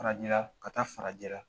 Farajɛla ka taa farajɛla